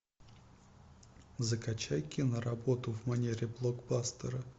закачай киноработу в манере блокбастера